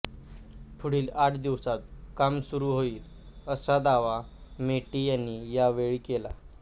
पुढील आठ दिवसांत काम सुरू होईल असा दावा मेटे यांनी यावेळी केला